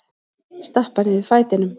Stappa niður fætinum.